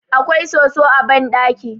awkai soso a banɗaki